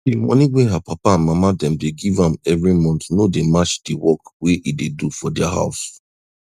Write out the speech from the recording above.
de monie wey her papa and mama dem dey give am every month no dey match de work wey e dey do for dia house